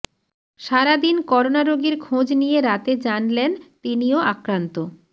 সারাদিন করোনা রোগীর খোঁজ নিয়ে রাতে জানলেন তিনিও আক্রান্ত